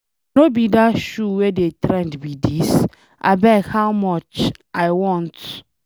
No be dat shoe wey dey trend be dis? Abeg how much? I want.